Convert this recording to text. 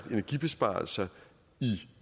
energibesparelser i